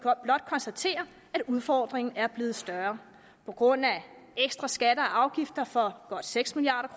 blot konstatere at udfordringen er blevet større på grund af ekstra skatter og afgifter for godt seks milliard